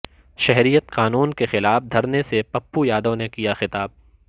شہریت قانون کے خلاف دھرنے سے پپو یادو نے کیا خطاب